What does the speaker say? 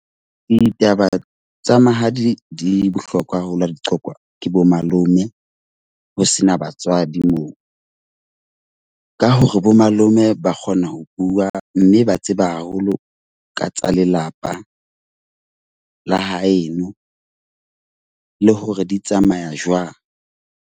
Ditaba tsa mahadi di bohlokwa haholo di qokwa ke bomalome, ho sena batswadi moo. Ka hore bomalome ba kgona ho bua. Mme ba tseba haholo ka tsa lelapa la haeno, le hore di tsamaya jwang.